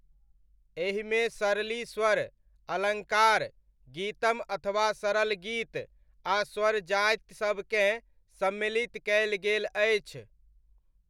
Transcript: एहिमे सरलि स्वर, अलङ्कार, गीतम अथवा सरल गीत आ स्वरजाति सबकेँ सम्मिलित कयल गेल अछि।